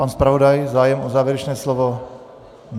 Pan zpravodaj, zájem o závěrečné slovo?